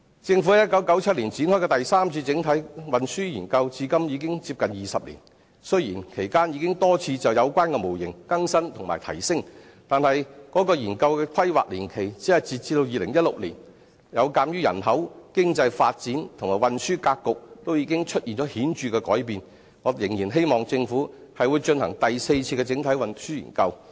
政府於1997年展開的第三次整體運輸研究至今已近20年，雖然其間已多次就有關模型更新及提升，但是，該研究的規劃年期只是截至2016年，有鑒於人口、經濟發展及運輸格局皆出現顯著的改變，我仍然希望政府進行第四次整體運輸研究。